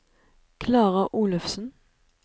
Klara Olufsen